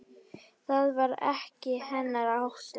Það var ekki hennar háttur.